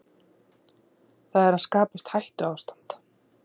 Það er að skapast hættuástand